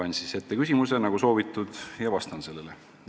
Loen siis ette küsimuse, nagu soovitud, ja vastan sellele.